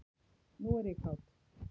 Nú er ég kát.